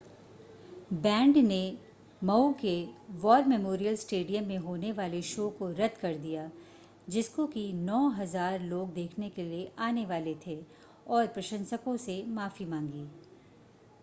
band ने Maui के war memorial stadium में होने वाले शो को रद्द कर दिया जिसको कि 9,000 लोग देखने के लिए आने वाले थे और प्रशंसको से माफ़ी मांगी